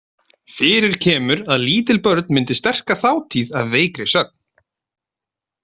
Fyrir kemur að lítil börn myndi sterka þátíð af veikri sögn.